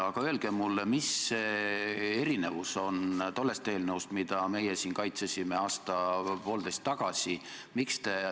Kuid öelge mulle, mille poolest erineb see eelnõu tollest eelnõust, mida meie siin aasta-poolteist tagasi kaitsesime.